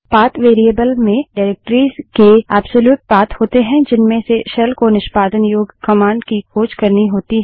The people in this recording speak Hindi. पाथ वेरिएबल में निर्देशिकाओंडाइरेक्टरिस के एब्सोल्यूट पाथ होते है जिनमें से शेल को निष्पादन योग्य कमांड की खोज करनी होती है